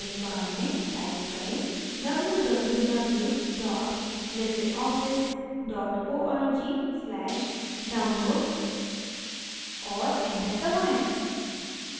address bar में type करें www libreoffice org/download और enter दबाएं